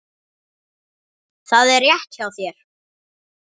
Það er rétt hjá þér.